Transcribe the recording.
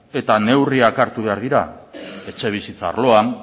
eta neurriak hartu behar dira etxebizitza arloan